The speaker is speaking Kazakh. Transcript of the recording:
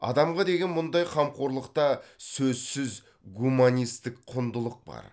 адамға деген мұндай қамқорлықта сөзсіз гуманистік құндылық бар